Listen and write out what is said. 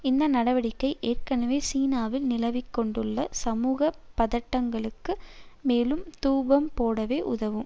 இந்த நடவடிக்கை ஏற்கனவே சீனாவில் நிலவிக்கொண்டுள்ள சமூக பதட்டங்களுக்கு மேலும் தூபம் போடவே உதவும்